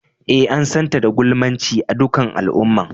Eh, an san ta da gulmance a' dukan al'umman.